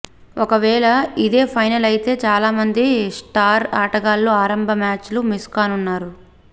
ఒకవేళ ఇదే ఫైనల్ అయితే చాలామంది స్టార్ ఆటగాళ్లు ఆరంభ మ్యాచులు మిస్ కానున్నారు